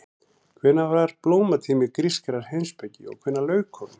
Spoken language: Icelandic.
Hvenær var blómatími grískrar heimspeki og hvenær lauk honum?